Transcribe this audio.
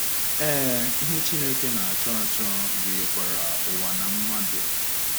Ee, ihe Chineke na - achọ achọ gụnyekwara ụwa na mmadụ.